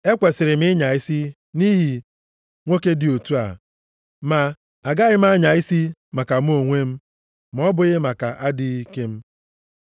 Ekwesiri m ịnya isi nʼihi nwoke dị otu a ma agaghị m anya isi maka mụ onwe m, ma ọ bụghị maka adịghị ike m.